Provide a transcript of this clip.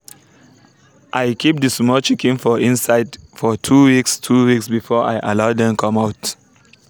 i keep the small chicken for inside for two weeks two weeks before i allow dem come out